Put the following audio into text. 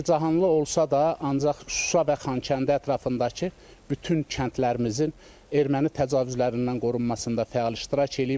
Çəkicanlı olsa da, ancaq Şuşa və Xankəndi ətrafındakı bütün kəndlərimizin erməni təcavüzlərindən qorunmasında fəal iştirak eləyib.